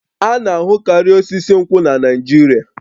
A na-ahụkarị osisi nkwụ na Naịjirịa